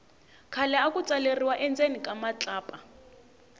khale aku tsaleriwa endzeni ka matlapa